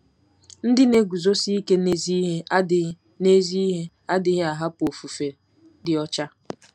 Ndị na-eguzosi ike n'ezi ihe adịghị n'ezi ihe adịghị ahapụ ofufe dị ọcha.